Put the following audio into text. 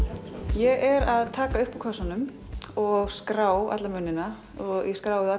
ég er að taka upp úr kössunum og skrá alla munina ég skrái þá